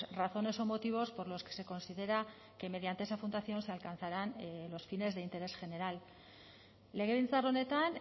razones o motivos por los que se considera que mediante esa fundación se alcanzarán los fines de interés general legebiltzar honetan